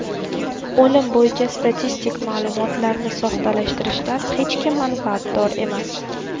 O‘lim bo‘yicha statistik ma’lumotlarni soxtalashtirishdan hech kim manfaatdor emas.